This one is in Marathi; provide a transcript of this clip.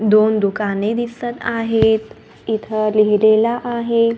दोन दुकाने दिसतं आहेत. इथे लिहिलेला आहे.